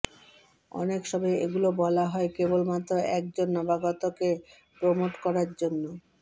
অনেক সময় এগুলো বলা হয় কেবলমাত্র এক জন নবাগতকে প্রমোট করার জন্য